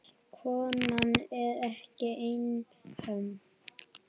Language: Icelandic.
Konan er ekki einhöm.